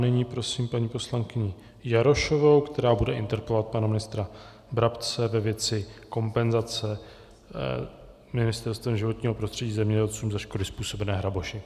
Nyní prosím paní poslankyni Jarošovou, která bude interpelovat pana ministra Brabce ve věci kompenzace Ministerstvem životního prostředí zemědělcům za škody způsobené hraboši.